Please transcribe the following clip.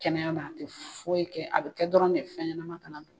Kɛnɛya na a tɛ foyi kɛ, a bɛ kɛ dɔrɔn de fɛn ɲɛnama kana don.